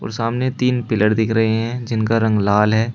सामने तीन पिलर दिख रहे हैं जिनका रंग लाल है।